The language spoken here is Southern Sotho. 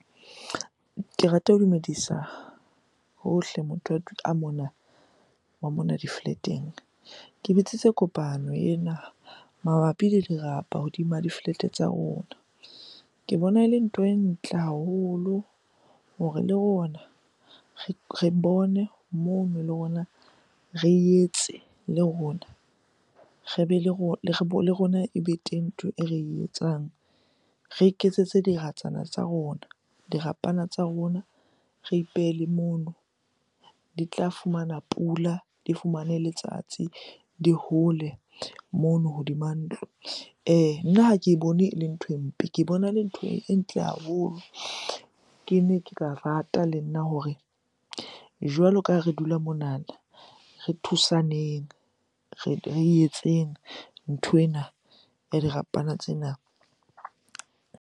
Ke rata ho dumedisa hohle a mona, wa mona di-flat-eng. Ke bitsitse kopano ena mabapi le dirapa hodima di-flat-e tsa rona. Ke bona e le ntho e ntle haholo hore le rona re bone moo re etse le rona. Re be le le rona ebe teng ntho e re etsang, re iketsetse diratswana tsa rona, dirapana tsa rona re ipehele mono. Di tla fumana pula, di fumane letsatsi, di hole mono hodima ntlo. Nna ha ke bone e le nthwe mpe, ke bona le ntho e ntle haholo. Kene ke ka rata le nna hore jwalo ka ha re dula monana, re thusaneng etseng nthwena ya dirapana tsena.